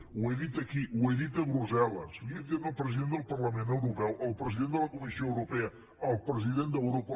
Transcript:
ho he dit aquí ho he dit a brussel·les ho he dit al president del parlament europeu al president de la comissió europea al president d’europa